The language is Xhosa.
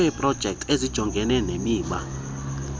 kweeprojekthi ezijongene nemiba